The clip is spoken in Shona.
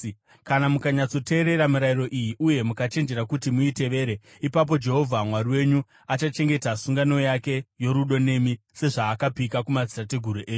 Kana mukanyatsoteerera mirayiro iyi uye mukachenjerera kuti muitevere, ipapo Jehovha Mwari wenyu achachengeta sungano yake yorudo nemi, sezvaakapika kumadzitateguru enyu.